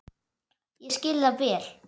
Ég skil það vel.